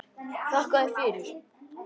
Þakka þér fyrir.